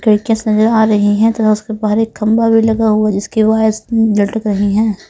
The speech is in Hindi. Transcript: नज़र आ रही है उधर बारीक़ खंबा भी लगा हुआ है जिसके वायर्स लटक रहे है.